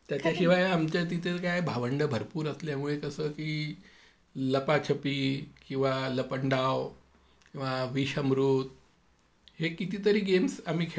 त्याच्याशिवाय आमच्या तिथ काय भावंडं भरपूर असल्यामुळे क्षण की लपाछपी किंवा लपंडाव किंवा विष अमृत हे कितीतरी गेम्स आम्ही खेळायचो.